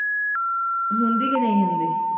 ਹੁੰਦੀ ਕੇ ਨਹੀਂ ਹੁੰਦੀ।